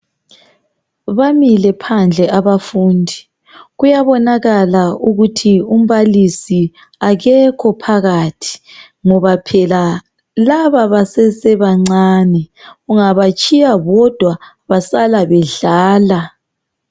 Bamile phandle abafundi kuyabonakala ukuthi umbalisi akekho phakathi ,ngoba phela laba basesebancane ungabatshiya bodwa basala bedlala.